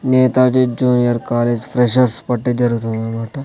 Netaji junior college freshers party జరుగుతుందనమాట.